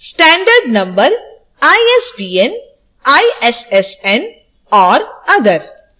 standard number isbn issn or other: